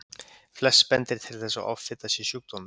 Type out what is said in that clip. Flest bendir til þess að offita sé sjúkdómur.